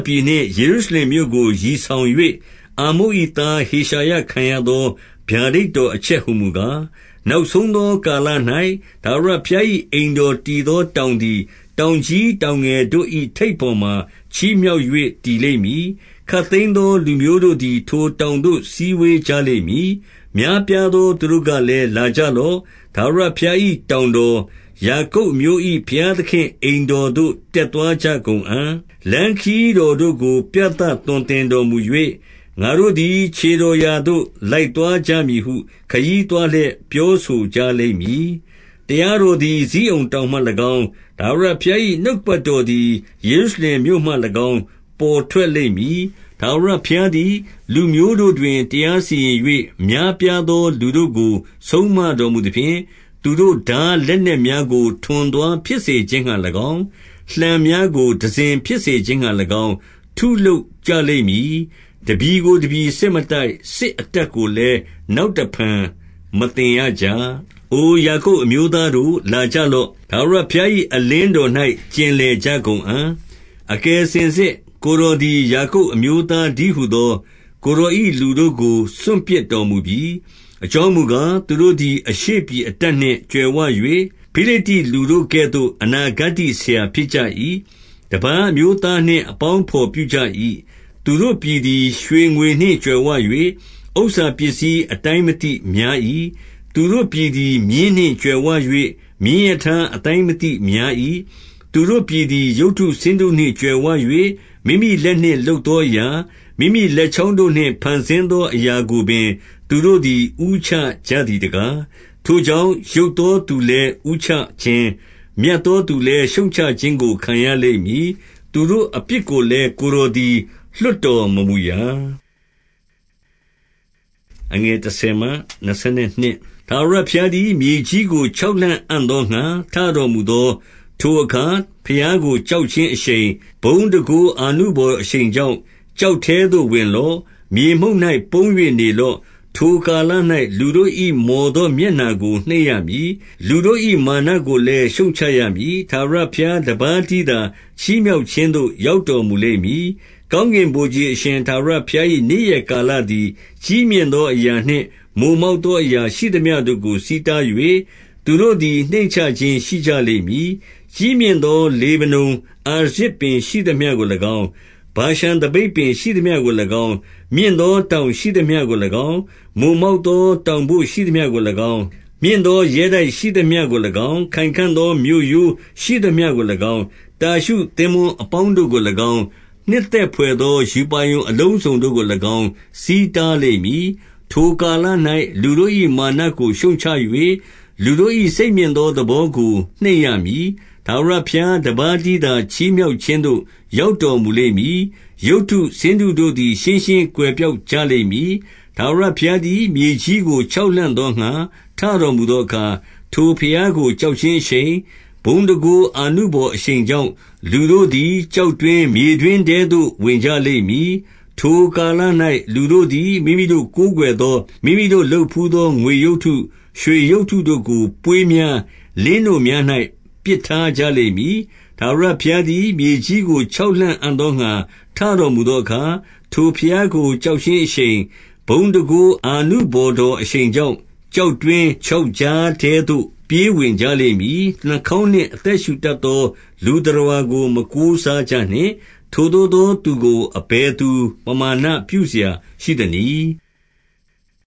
ပြည်နှင့် ယေရုရှလင်မြို့ကို ရည်ဆောင်၍၊ အာမုတ်၏သားဟေရှာယခံရသော ဗျာဒိတ်တော်အချက် ဟူမူကား၊ နောက်ဆုံးသော ကာလ၌ ထာဝရဘုရား၏ အိမ်တော်တည်သောတောင်သည် တောင်ကြီးတောင်ငယ် တို့၏ ထိပ်ပေါ်မှာ ချီးမြှောက်၍ တည်လိမ့်မည်။ ခပ်သိမ်း သောလူမျိုးတို့သည် ထိုတောင်သို့ စည်းဝေးကြလိမ့်မည်။ များပြားသောသူတို့ကလည်း၊ လာကြလော့။ ထာဝရဘုရား၏တောင်တော်၊ ယာကုပ်အမျိုး၏ ဘုရား သခင့်အိမ်တော်သို့ တက်သွားကြကုန်အံ့။ လမ်းခရီးတော် တို့ကို ပြသသွန်သင်တော်မူ၍၊ ငါတို့သည် ခြေတော်ရာသို့ လိုက်သွားကြမည်ဟု ခရီးသွားလျက် ပြောဆိုကြလိမ့်မည်။ တရားတော်သည် ဇိကုန်တောင်မှ၎င်း၊ ထာဝရဘုရား၏ နှုတ်ကပတ်တော်သည် ယေရုရှလင်မြို့မှ၎င်း၊ ပေါ်ထွက် လိမ့်မည်။ ထာဝရဘုရားသည် လူမျိုးတို့တွင် တရားစီရင် ၍၊ များပြားသောသူတို့ကို ဆုံးမတော်မူသဖြင့်၊ သူတို့ ထားလက်နက်များကို တံစဉ်ဖြစ်စေခြင်းငှါ၎င်း ထုလုပ်ကြ လိမ့်မည်။ တပြည်ကို တပြည်စစ်မတိုက်၊ စစ်အတတ်ကို လည်း နောက်တဖန်မသင်ရကြ။ အိုယာကုပ် အမျိုးသားတို့၊ လာကြလော့။ ထာဝရဘုရား၏အလင်းတော်၌ ကျင်လည်ကြကုန်အံ့။ အကယ်စင်စစ် ကိုယ်တော်သည် ယာကုပ်အမျိုး သားတည်းဟူသော ကိုယ်တော်၏လူတို့ကို စွန့်ပစ်တော် မူပြီ။ အကြောင်းမူကား၊ သူတို့သည် အရှေ့ပြည်အတတ် နှင့် ကြွယ်ဝ၍၊ ဖိလိတ္တိလူတို့ကဲ့သို့ အနာဂတ္တိဆရာ ဖြစ်ကြ၏။ တပါးအမျိုးသားနှင့် အပေါင်းအဘော် ပြုကြ၏။ သူတို့ပြည်သည် ရွှေငွေနှင့်ကြွယ်ဝ၍၊ ဥစ္စာ ပစ္စည်း အတိုင်းမသိများ၏။ သူတို့ပြည်သည် မြင်းနှင့် ကြွယ်ဝ၍၊ မြင်းရထား အတိုင်းမသိများ၏။ သူတို့ပြည်သည် ရုပ်တုဆင်းတုနှင့်ကြွယ်ဝ၍၊ မိမိလက်နှင့်လုပ်သောအရာ၊ မိမိလက်ချောင်းတို့နှင့် ဖန်ဆင်းသောအရာကိုပင် သူတို့သည် ဦးချကြသည် တကား။ ထိုကြောင့်၊ ယုတ်သောသူလည်း ဦးနှိမ့်ခြင်း၊ မြတ်သောသူလည်း ရှုတ်ချခြင်းကို ခံရလိမ့်မည်။ သူတို့ အပြစ်ကိုလည်း ကိုယ်တော်သည် လွှတ်တော်မမူရာ။ ထာဝရဘုရားသည် မြေကြီးကို ချောက်လှန့်အံ့ သောငှါ ထတော်မူသော ထိုအခါ၊ ဘုရားကိုကြောက်ခြင်း အရှိန်၊ ဘုန်းတန်ခိုးအာနုဘော်တော်အရှိန်ကြောင့်၊ ကျောက်ထဲသို့ ဝင်လော့။ မြေမှုန့်၌ ပုန်း၍နေလော့။ ထိုကာလ၌ လူတို့၏မော်သော မျက်နှာကို နှိမ့်ရ မည်။ လူတို့၏မာနကိုလည်း ရှုတ်ချရမည်။ ထာဝရဘုရား တပါးတည်း သာချီးမြှောက်ခြင်းသို့ ရောက်တော်မူလိမ့် မည်။ ကောင်းကင်ဗိုလ်ခြေ အရှင်ထာဝရဘုရား၏ နေ့ရက် ကာလသည် ကြီးမြင့်သောအရာနှင့် မိုမောက်သောအရာ ရှိသမျှတို့ကို ဆီးတား၍၊ သူတို့သည် နှိမ့်ချခြင်းရှိကြ လိမ့်မည်။ ကြီးမြင့်သော လေဗနုန်အာရဇ်ပင် ရှိသမျှကို၎င်း၊ မြင့်သောတောင်ရှိသမျှကို၎င်း၊ မိုမောက်သော တောင်ပို့ရှိသမျှကို၎င်း၊ မြင့်သော ရဲတိုက်ရှိသမျှကို၎င်း၊ ခိုင်ခံ့သော မြို့ရိုးရှိသမျှကို၎င်း၊ တာရှုသင်္ဘောအပေါင်းတို့ကို၎င်း၊ နှစ်သက် ဘွယ်သော ရူပါရုံ အလုံးစုံတို့ကို၎င်း ဆီးတားလိမ့်မည်။ ထိုကာလ၌ လူတို့၏မာနကို ရှုတ်ချ၍၊ လူတို့၏ စိတ်မြင့်သော သဘောကိုနှိမ့်ရမည်။ ထာဝရဘုရား တပါးတည်းသာ ချီးမြှောက်ခြင်းသို့ ရောက်တော်မူ လိမ့်မည်။ ရုပ်တု ဆင်းတုတို့သည် ရှင်းရှင်းကွယ်ပျောက်ကြလိမ့် မည်။ ထာဝရဘုရားသည် မြေကြီးကိုချောက် လှန့်အံ့ သောငှါ ထတော်မူသောအခါ၊ ထိုဘုရားကိုကြောက်ခြင်း အရှိန်၊ ဘုန်းတန်ခိုးအာနုဘော်တော်အရှိန်ကြောင့် လူတို့သည် ကျောက်တွင်း၊ မြေတွင်းထဲသို့ ဝင်ကြလိမ့်မည်။ ထိုကာလ၌ လူတို့သည် မိမိတို့ကိုးကွယ်ဘို့ မိမိတို့ လုပ်ဘူးသော ငွေရုပ်တု၊ ရွှေရုပ်တုတို့ကို ပွေးများ၊ လင်းနို့ များ၌ ပစ်ထားကြလိမ့်မည်။ ထာဝရဘုရားသည် မြေကြီးကို ချောက်လှန့်အံ့ သောငှါ ထတော်မူသောအခါ၊ ထိုဘုရားကို ကြောက်ခြင်း အရှိန်၊ ဘုန်းတန်ခိုးအာနုဘော်တော်အရှိန်ကြောင့် ကျောက်တွင်း၊ ချောက်ကြားထဲသို့ ပြေးဝင်ကြလိမ့်မည်။ နှာခေါင်းနှင့်အသက်ရှူတတ်သော လူသတ္တဝါကို မကိုးစားကြနှင့်။ ထိုသို့သော သူကိုအဘယ်သို့ ပမာဏ ပြုစရာရှိသနည်း။